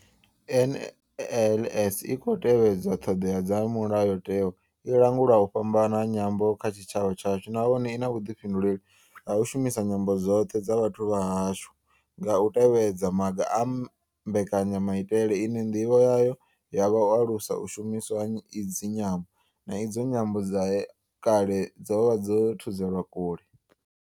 NLS I tshi khou tevhedza ṱhodea dza mulayotewa, i langula u fhambana ha nyambo kha tshitshavha tshashu nahone I na vhuḓifhinduleli ha u shumisa nyambo dzoṱhe dza vhathu vha hashu nga u tevhedza maga a mbekanyamaitele ine ndivho yayo ya vha u alusa u shumiswa ha idzi nyambo, na idzo nyambo dze kale dza vha dzo thudzelwa kule.